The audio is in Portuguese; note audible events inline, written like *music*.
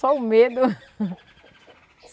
Só o medo. *laughs*